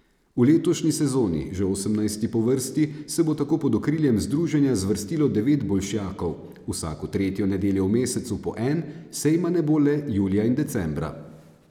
V letošnji sezoni, že osemnajsti po vrsti, se bo tako pod okriljem združenja zvrstilo devet bolšjakov, vsako tretjo nedeljo v mesecu po en, sejma ne bo le julija in decembra.